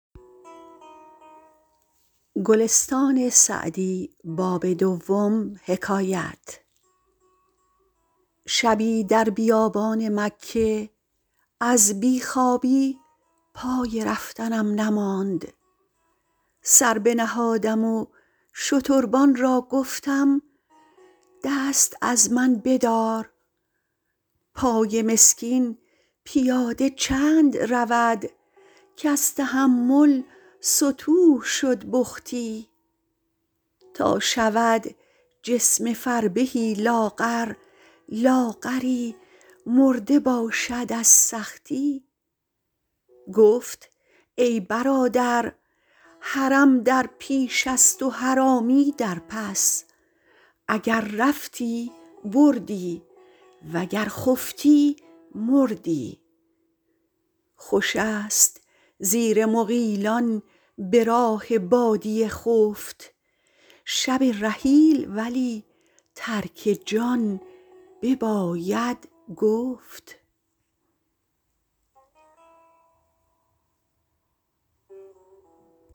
شبی در بیابان مکه از بی خوابی پای رفتنم نماند سر بنهادم و شتربان را گفتم دست از من بدار پای مسکین پیاده چند رود کز تحمل ستوه شد بختی تا شود جسم فربهی لاغر لاغری مرده باشد از سختی گفت ای برادر حرم در پیش است و حرامی در پس اگر رفتی بردی وگر خفتی مردی خوش است زیر مغیلان به راه بادیه خفت شب رحیل ولی ترک جان بباید گفت